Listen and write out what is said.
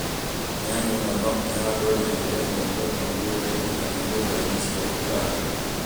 Nyanya no no ihandwo na njĩra ĩmwe kwa ĩmwe mũgũnda-inĩ kana nyũmba-inĩ cia kũiga mbegũ.